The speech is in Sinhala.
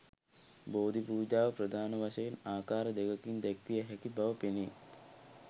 බෝධි පූජාව ප්‍රධාන වශයෙන් ආකාර දෙකකින් දැක්විය හැකි බව පෙනේ.